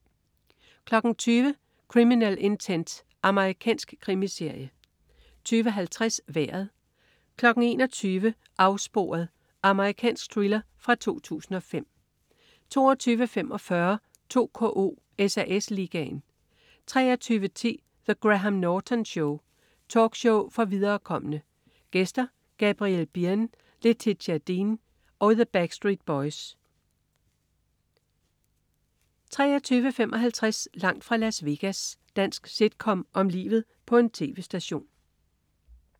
20.00 Criminal Intent. Amerikansk krimiserie 20.50 Vejret 21.00 Afsporet. Amerikansk thriller fra 2005 22.45 2KO: SAS Ligaen 23.10 The Graham Norton Show. Talkshow for viderekomne. Gæster: Gabriel Byrne, Letitia Dean og The Backstreet Boys 23.55 Langt fra Las Vegas. Dansk sitcom om livet på en tv-station